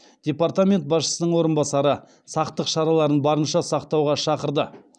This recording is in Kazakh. департамент басшысының орынбасары сақтық шараларын барынша сақтауға шақырды